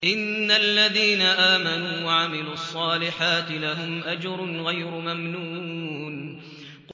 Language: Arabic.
إِنَّ الَّذِينَ آمَنُوا وَعَمِلُوا الصَّالِحَاتِ لَهُمْ أَجْرٌ غَيْرُ مَمْنُونٍ